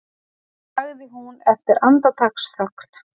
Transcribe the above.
sagði hún eftir andartaksþögn.